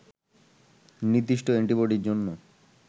নির্দিষ্ট অ্যান্টিবডির জন্য